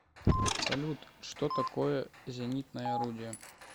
салют что такое зенитное орудие